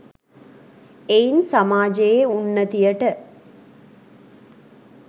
එයින් සමාජයේ උන්නතියට